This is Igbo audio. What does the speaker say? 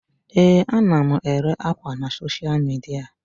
Ee, ana m ere ákwà na soshal midia.